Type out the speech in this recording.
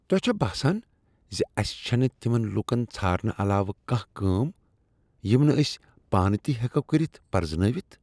تۄہہ چھا باسان زِ اَسِہ چَھنہٕ تِمن لوکَن ژھارنہٕ علاوٕ کانٛہہ کٲم یِم نہٕ ٲسۍ پانہٕ تِہ ہیٚکو کٔرِتھ پرزنٲوِتھ ؟